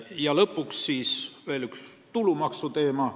Ja lõpuks ka üks tulumaksuga seotud teema.